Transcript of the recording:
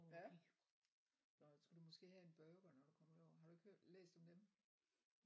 Ja og skulle du måske have en burger når du kommer derover har du ikke hørt læst om dem?